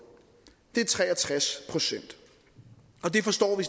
det er tre og tres procent det forstår vi